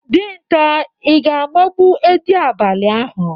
Dinta, Ị ga-agbagbo edị abalị ahụ.